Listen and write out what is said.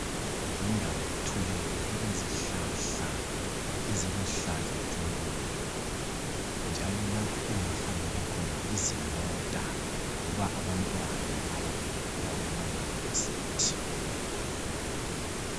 Yindawo ethuleyo elezihlahla eziluhlaza tshoko njalo lapho kungahambela khona izimota loba abantwana abayabe bevela kumaYunivesi.